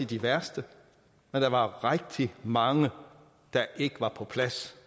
de værste men der var rigtig mange der ikke var på plads